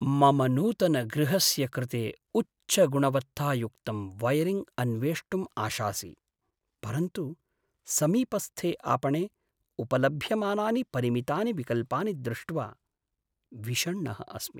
मम नूतनगृहस्य कृते उच्चगुणवत्तायुक्तं वयरिङ्ग् अन्वेष्टुम् आशासि, परन्तु समीपस्थे आपणे उपलभ्यमानानि परिमितानि विकल्पानि दृष्ट्वा विषण्णः अस्मि।